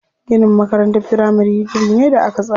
Ginin makarantar firamari gini ne da aka tsara.